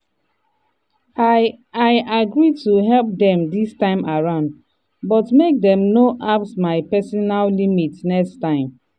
i i agree to help dem dis time around but make dem no apss my personal limit next time.